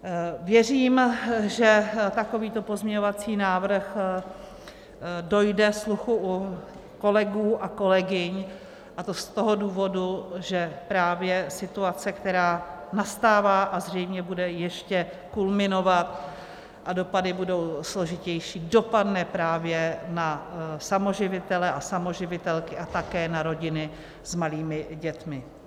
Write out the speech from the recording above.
Věřím, že takovýto pozměňovací návrh dojde sluchu u kolegů a kolegyň, a to z toho důvodu, že právě situace, která nastává a zřejmě bude ještě kulminovat, a dopady budou složitější, dopadne právě na samoživitele a samoživitelky a také na rodiny s malými dětmi.